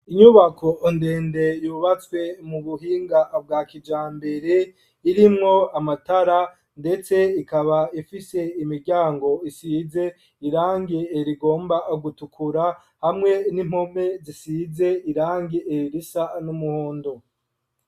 Inyubako ndende yubatswe mu buhinga bwa kijambere irimwo amatara, ndetse ikaba ifise imiryango isize irange eri igomba gutukura hamwe n'impome zisize irange ererisa n'umuhondo.